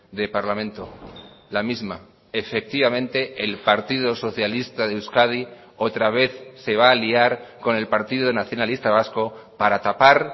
de parlamento la misma efectivamente el partido socialista de euskadi otra vez se va a aliar con el partido nacionalista vasco para tapar